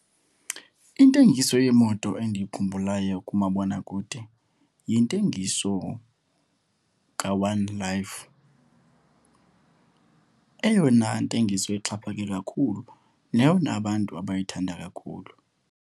Intengiso yemoto endiyikhumbulayo kumabonakude yintengiso kaOne Life, eyona ntengiso ixhaphake kakhulu neyona abantu abayithanda kakhulu.